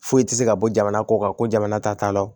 Foyi tɛ se ka bɔ jamana kɔ kan ko jamana ta t'a la